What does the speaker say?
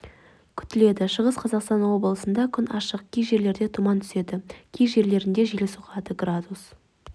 күтіледі шығыс қазақстан облысында күн ашық кей жерлерде тұман түседі кей жерлерінде жел соғады градус